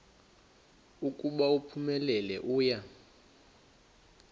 ukuba uphumelele uya